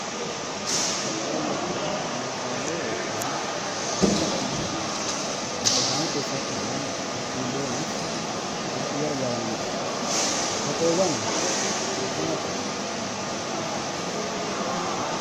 Kopheewwan jechuun meeshaalee yookiin wantoota dhalli namaa luka isaaniitti uffachuudhaan ittiin deemuuf itti gargaaramanii dha. Kopheewwan bakka meeqatti qoodama?